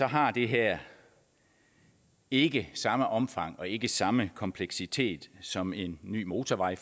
har det her ikke samme omfang og ikke samme kompleksitet som for eksempel en ny motorvej